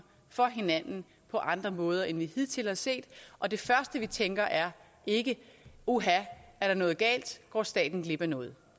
for hinanden på andre måder end man hidtil har set og det første vi tænker er ikke uha er der noget galt går staten glip af noget